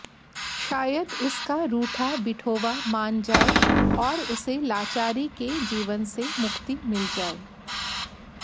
शायद उसका रूठा विठोबा मान जाए और उसे लाचारी के जीवन से मुक्ति मिल जाए